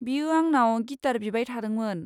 बियो आंनाव गिटार बिबाय थादोंमोन।